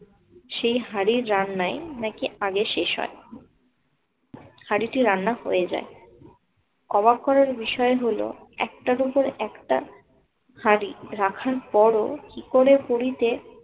সেই হাড়ের রান্নায় নাকি আগে শেষ হয়। হাড়িটি রান্না হয়ে যায়। অবাক করার বিষয় হলো একটার উপর একটা হাড়ি রাখার পরও কি করে পুরীতে